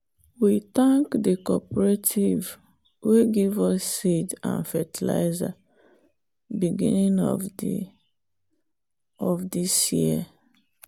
we thank the cooperative way give us seed and fertilizer beginning of the this year.